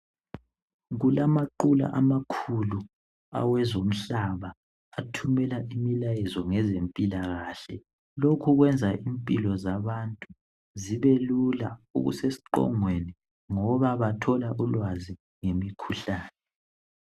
Kulaqula amakulu awezomhlaba athumela umlayezo ngezemphilakahle. Lokhu kwenza imphilo zabantu zibelula okusesiqongweni ngoba bathola ulwazi ngemikhuhlane.